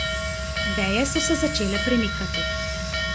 Veje so se začele premikati.